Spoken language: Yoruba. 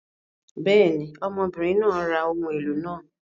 Bẹ́ẹ̀ ni, ọmọbìnrin náà ra àwọn ohun èlò náà.